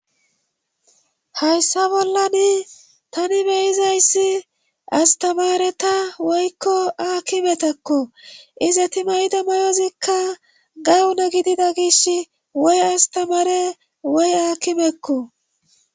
hayssa bollani tani beyizayssi astamareta woykko aakkimetakko iza ti mayida mayozikka gawuna gidida gish woy astamare woy aakimekko